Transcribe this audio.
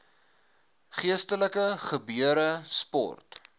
geestelike gebeure sport